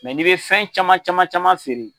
Mɛ n'i bɛ fɛn caman caman caman feere